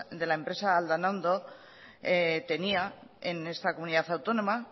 de la empresa aldanondo tenía en esta comunidad autónoma